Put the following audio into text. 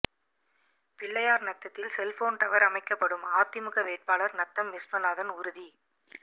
பிள்ளையார்நத்தத்தில் cellphone tower அமைக்கப்படும் அதிமுக வேட்பாளர் நத்தம் விஸ்வநாதன் உறுதி